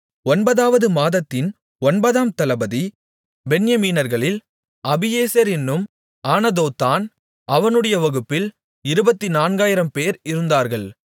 ஒன்பதாவது மாதத்தின் ஒன்பதாம் தளபதி பென்யமீனர்களில் அபியேசர் என்னும் ஆனதோத்தான் அவனுடைய வகுப்பில் இருபத்துநான்காயிரம்பேர் இருந்தார்கள்